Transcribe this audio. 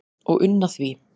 og unna því